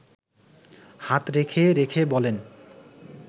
হাত রেখে রেখে বলেন